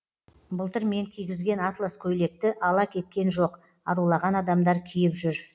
былтыр мен кигізген атлас көйлекті ала кеткен жоқ арулаған адамдар киіп жүр